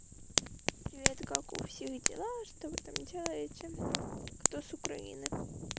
привет как у всех дела что вы там делаете кто с украины